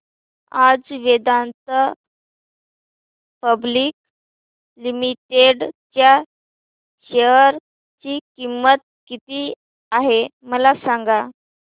आज Vedanta public limited च्या share ची किंमत किती आहे मला सांगा